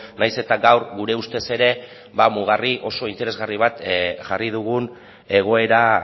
nahiz eta gaur gure ustez ere mugarri interesgarri bat jarri dugun egoera